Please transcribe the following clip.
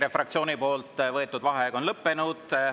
EKRE fraktsiooni võetud vaheaeg on lõppenud.